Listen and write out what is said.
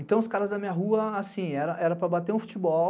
Então, os caras da minha rua, assim, era para bater um futebol,